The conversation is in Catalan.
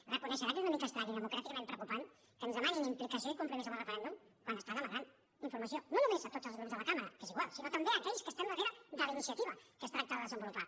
deu reconèixer que és una mica estrany i democràticament preocupant que ens demanin implicació i compromís amb el referèndum quan estan amagant informació no només a tots els grups de la cambra que és igual sinó també a aquells que estem darrere de la iniciativa que es tracta de desenvolupar